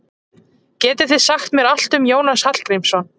Getið þið sagt mér allt um Jónas Hallgrímsson?